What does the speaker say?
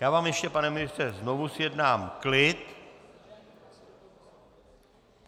Já vám ještě, pane ministře, znovu zjednám klid.